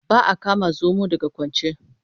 Ba a kama zomo daga kwance.